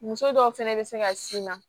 Muso dɔw fɛnɛ bɛ se ka sin na